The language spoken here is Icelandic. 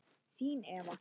Þín Eva